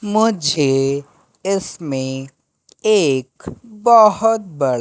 मुझे इसमें एक बहुत बड़ा--